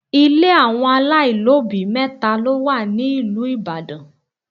Ile àwọn aláìlóbìí mẹ́ta ló wà ní ìlú Ìbàdàn.